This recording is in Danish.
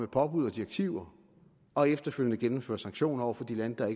påbud og direktiver og efterfølgende gennemføre sanktioner over for de lande der